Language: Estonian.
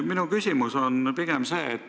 Minu küsimus on aga selline.